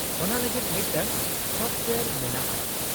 ᱚᱱᱟ ᱞᱟᱹᱜᱤᱫ ᱢᱤᱫᱴᱟᱝ ᱥᱚᱯᱷᱚᱴᱳᱭᱟᱨ ᱢᱮᱱᱟᱜᱼᱟ ᱾